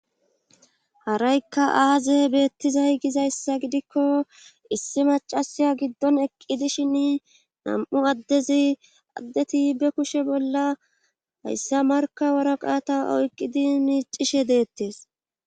haraykka aaze beettizay gizayssa gidikko issi macasiya giddon eqqi dishin nam7u addezi addeti be kushe bolla hayssa markawara qaata oyqqidi miicishe deettes